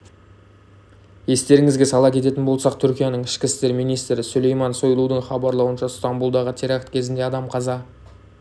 естеріңізге сала кететін болсақ түркияның ішкі істер министрі сүлейман сойлудың хабарлауынша стамбұлдағы теракт кезінде адам қаза